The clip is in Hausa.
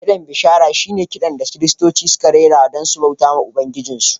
Kiɗan bishara shi ne kiɗa da Kiristoci suke rerawa don su bauta wa Ubangiji.